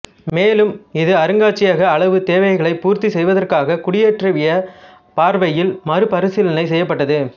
மேலும் இது அருங்காட்சியக அளவு தேவைகளைப் பூர்த்தி செய்வதற்காக குடியேற்றவிய பார்வையில் மறுபரிசீலனை செய்யப்பட்டது